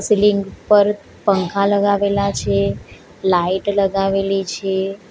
Ceiling પર પંખા લગાવેલા છે લાઈટ લગાવેલી છે.